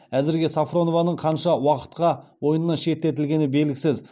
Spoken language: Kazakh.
әзірге сафронованың қанша уақытқа ойыннан шеттетілгені белгісіз